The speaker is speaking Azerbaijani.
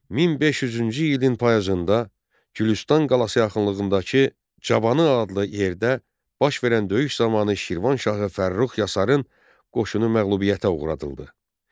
1500-cü ilin payızında Gülüstan qalası yaxınlığındakı Cavanı adlı yerdə baş verən döyüş zamanı Şirvan şahı Fərrux Yasarın qoşunu məğlubiyyətə uğradıldı.